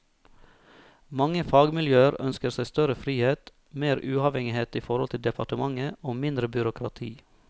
Mange fagmiljøer ønsker seg større frihet, mer uavhengighet i forhold til departementet og mindre byråkrati.